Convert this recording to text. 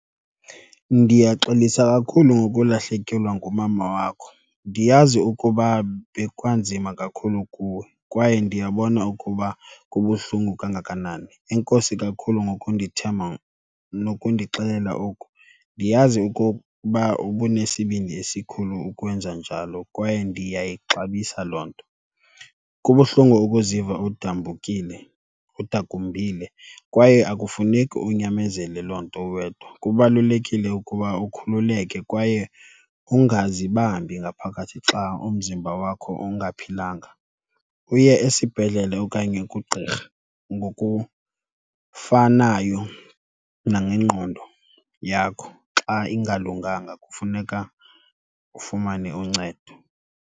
Ndiyaxolisa kakhulu ngokulahlekelwa ngumama wakho. Ndiyazi ukuba bekwanzima kakhulu kuwe kwaye ndiyabona ukuba kubuhlungu kangakanani. Enkosi kakhulu ngokundithemba nokundixelela oku. Ndiyazi okokuba ubunesibindi esikhulu ukwenza njalo kwaye ndiyayixabisa loo nto. Kubuhlungu ukuziva udambukile udakumbile kwaye akufuneki unyamezele loo nto uwedwa. Kubalulekile ukuba ukhululeke kwaye ungazibambi ngaphakathi xa umzimba wakho ungaphilanga, uye esibhedlele okanye kugqirha. Ngokufanayo nangengqondo yakho, xa ingalunganga kufuneka ufumane uncedo.